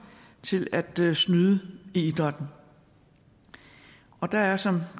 til at snyde i idrætten og der er som